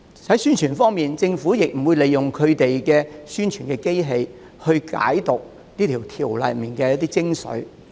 在宣傳方面，政府沒有利用宣傳機器，解釋修訂條例中的一些精髓。